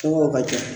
ka ca